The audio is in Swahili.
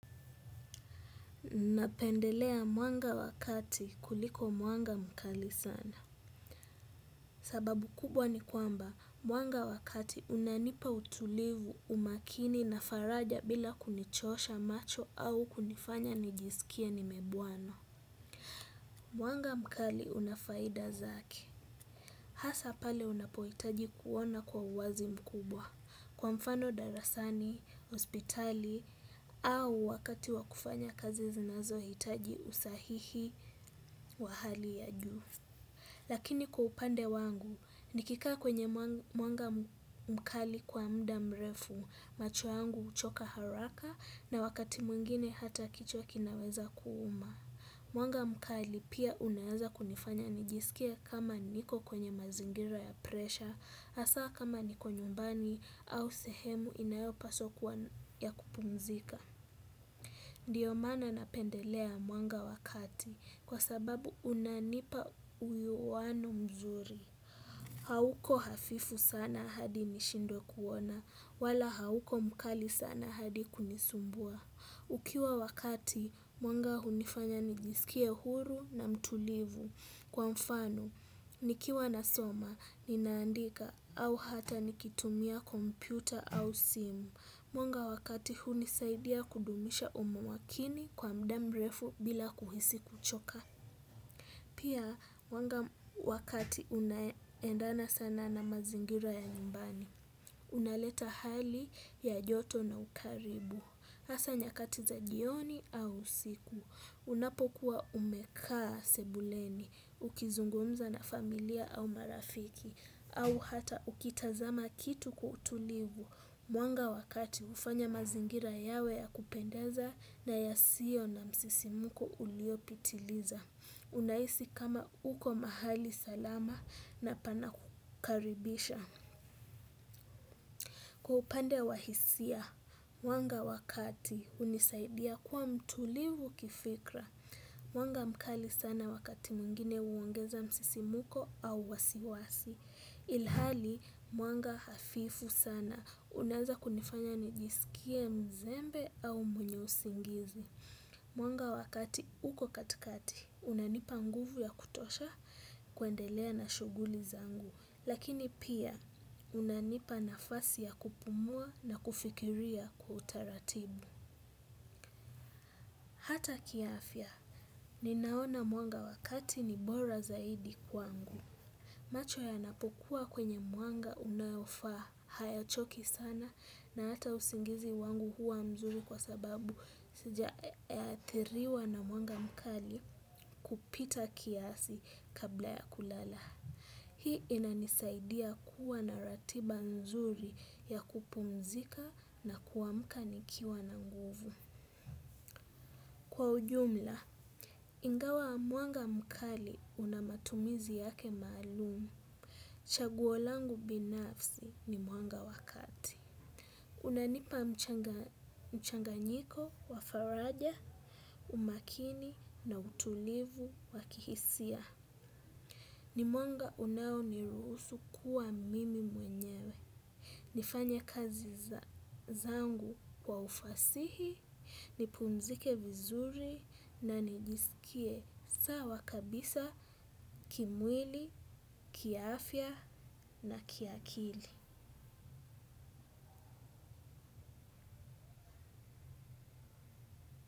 Napendelea mwanga wa kati kuliko mwanga mkali sana. Sababu kubwa ni kwamba mwanga wakati unanipa utulivu umakini na faraja bila kunichosha macho au kunifanya nijisikie ni mebanwa. Mwanga mkali unafaida zake asa pale unapohitaji kuona kwa uwazi mkubwa. Kwa mfano darasani, hospitali au wakati wakufanya kazi zinazo hitaji usahihi wa hali ya juu. Lakini kwa upande wangu nikikaa kwenye mwanga mkali kwa muda mrefu macho yangu uchoka haraka na wakati mwingine hata kichwa kinaweza kuuma. Mwanga mkali pia unaeza kunifanya nijisikie kama niko kwenye mazingira ya presha asa kama niko nyumbani au sehemu inayopaswa kuwa ya kupumzika. Ndiyo maana napendelea mwanga wa kati kwa sababu unanipa uuwano mzuri. Hauko hafifu sana hadi nishindwe kuona wala hauko mkali sana hadi kunisumbua. Ukiwa wakati mwanga hunifanya nijisikie huru na mtulivu. Kwa mfano nikiwa nasoma ninaandika au ata nikitumia kompyuta au simu. Mwanga wakati huni saidia kudumisha umakini kwa muda mrefu bila kuhisi kuchoka. Pia mwanga wakati unaendana sana na mazingira ya nyumbani. Unaleta hali ya joto na ukaribu. Asa nyakati za jioni au usiku unapokuwa umekaa sebuleni ukizungumza na familia au marafiki au hata ukitazama kitu kwa utulivu mwanga wakati ufanya mazingira yawe ya kupendeza na ya sio na msisimko uliopitiliza. Unahisi kama uko mahali salama na pana kukaribisha. Kwa upande wa hisia, mwanga wakati unisaidia kuwa mtulivu kifikra. Mwanga mkali sana wakati mwingine uongeza msisimko au wasiwasi. Ilhali mwanga hafifu sana. Unaeza kunifanya nijisikie mzembe au mwenye usingizi. Mwanga wakati uko katikati, unanipa nguvu ya kutosha kuendelea na shughuli zangu. Lakini pia, unanipa nafasi ya kupumua na kufikiria kwa utaratibu. Hata kiafya, ninaona mwanga wakati ni bora zaidi kwangu. Macho ya napokuwa kwenye mwanga unaofaa haya choki sana na hata usingizi wangu huwa mzuri kwa sababu sijaathiriwa na mwanga mkali kupita kiasi kabla ya kulala. Hii inanisaidia kuwa na ratiba mzuri ya kupumzika na kuamka nikiwa na nguvu. Kwa ujumla, ingawa mwanga mkali una matumizi yake maalum. Chaguo langu binafsi ni mwanga wa kati. Unanipa mchanganyiko, wa faraja, umakini na utulivu wakihisia. Ni mwanga unao ni ruhusu kuwa mimi mwenyewe. Nifanye kazi zangu kwa ufasihi nipumzike vizuri na nijiskie sawa kabisa kimwili kiafya na kiakili.